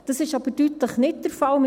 Das ist aber deutlich nicht der Fall.